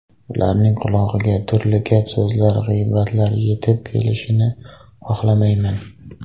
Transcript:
Ularning qulog‘iga turli gap-so‘zlar, g‘iybatlar yetib kelishini xohlamayman.